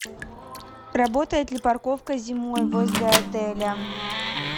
работает ли парковка зимой возле отеля